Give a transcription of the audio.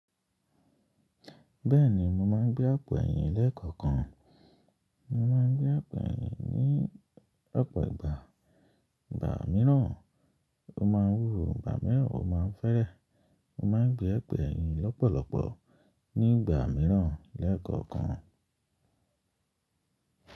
Bẹ́ẹ̀ni, mo máa ń gbé àpò ẹ̀yìn lẹ́ẹ̀kọ̀kan. Mo máa ń gbé àpò ẹ̀yìn ní ọ̀pọ̀ ìgbà. Ìgbà míràn mo máa ń wúwo, ìgbà míràn mo máa ń fẹ́rẹ̀. Mo máa ń gbé àpò ẹ̀yìn lọ́pọ̀lọpọ̀ ní ìgbà mìíràn lẹ́ẹ̀kọ̀kan.